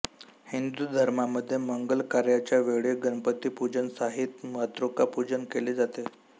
हिंदू धर्मामध्ये मंगलकार्याच्या वेळी गणपतीपूजन सहित मातृका पूजन केले जाते